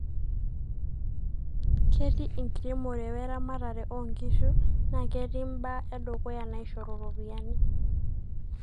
ketii enkiremore we ramatare oo nkishu naa ketii mbaa edukuya naishoru ropiyani